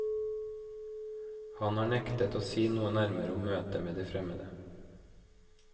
Han har nektet å si noe nærmere om møtet med de fremmede.